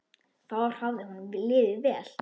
Þar hafði honum liðið vel.